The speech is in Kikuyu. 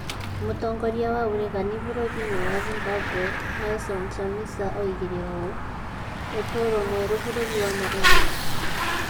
Mũtongoria wa ũregani bũrũri-inĩ wa Zimbabwe Nelson Chamisa oigire ũũ:"ũtũũro mwerũ bũrũri wa Malawi